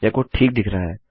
यह कोड ठीक दिख रहा है